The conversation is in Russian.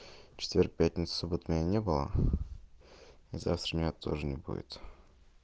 четверг пятница суббота меня не было а завтра меня тоже не будет